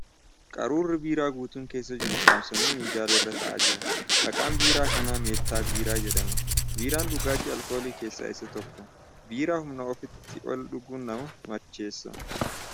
Qaruurri biiraa guutuun keessa jiru saaamsamee minjaala irra taa'aa jira. Maqaan biiraa kanaa 'Meeettaa Biiraa ' jedhama . Biiraan Dhugaatii alkoolii keessaa isa tokko. Biiraa humna ofiitii ol dhuguuun nama macheessa.